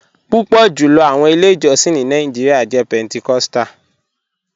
Pupọ julọ awọn ilẹ̀-ijọ̀sìn ni Nàìjíríà jẹ̀ Pentecostal.